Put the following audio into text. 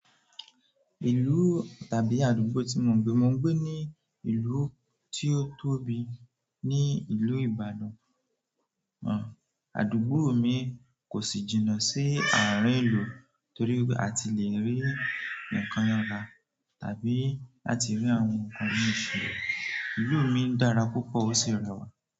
Ìlú tàbí àdúgbò tí mo ń gbé, mo ń gbé ní ìlú tí ó tóbi ní ìlú Ibadan. Àn, àdúgbò mi kò sì jìnà sí àárín ìlú torí a ti le rí nǹkan ra tàbí láti rí àwọn nǹkan mii se. Ìlú mi dára púpọ̀ ó sì rẹwà.